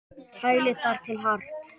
Kælið þar til hart.